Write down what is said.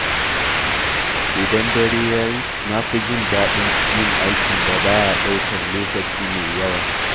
Idan dare ya yi, na fi jin daɗin yin aikin da ba ya ɗaukar lokaci mai yawa.